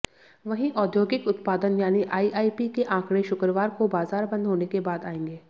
वहीं औद्योगिक उत्पादन यानी आईआईपी के आंकड़े शुक्रवार को बाजार बंद होने के बाद आएंगे